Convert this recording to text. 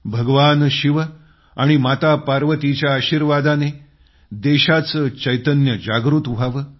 भगवान शिव आणि माता पार्वतीच्या आशीर्वादानं देशाचं चैतन्य जागृत व्हावं